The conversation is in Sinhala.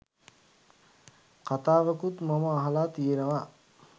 කතාවකුත් මම අහල තියෙනවා